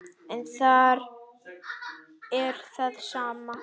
En þar er það sama.